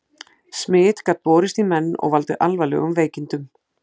Smit gat borist í menn og valdið alvarlegum veikindum.